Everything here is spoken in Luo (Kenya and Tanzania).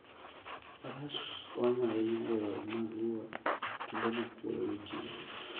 Faras konyo ahinya e yore mag wuoth kuonde ma kuoyo nitie.